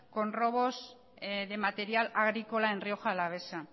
con robos de material agrícola en rioja alavesa